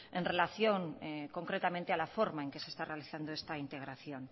en relación concretamente a la forma en que se está realizando esta integración